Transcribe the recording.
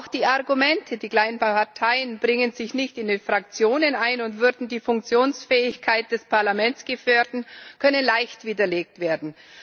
Auch die Argumente, die kleinen Parteien bringen sich nicht in den Fraktionen ein und würden die Funktionsfähigkeit des Parlaments gefährden, können leicht widerlegt werden.